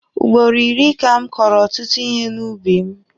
Ugboro iri ka m kọrọ ọtụtụ ihe n'ubi m.